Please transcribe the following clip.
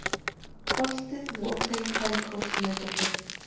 Holtið, Votey, Helghóll, Nautaklöpp